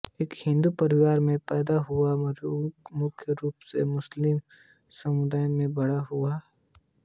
एक हिंदू परिवार में पैदा हुआ मेहररूम मुख्य रूप से मुस्लिम समुदाय में बड़ा हुआ